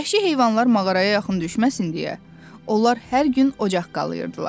Vəhşi heyvanlar mağaraya yaxın düşməsin deyə, onlar hər gün ocaq qalıyırdılar.